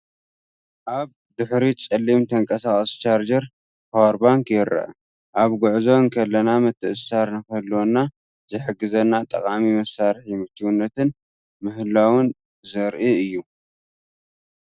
ኣብ ድሕሪት ጸሊም ተንቀሳቓሲ ቻርጀር (ፓወር ባንክ) ይርአ ኣብ ጉዕዞ እንከለና ምትእስሳር ንኽህልወና ዝሕግዘና ጠቓሚ መሳርሒ ምችውነትን ምህላውን ዘርኢ እዩ፡፡